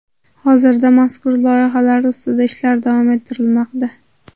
Hozirda mazkur loyihalar ustida ishlar davom ettirilmoqda.